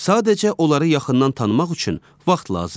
Sadəcə onları yaxından tanımaq üçün vaxt lazımdır.